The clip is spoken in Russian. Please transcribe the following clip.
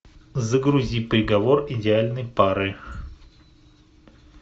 загрузи приговор идеальной пары